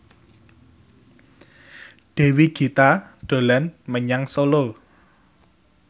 Dewi Gita dolan menyang Solo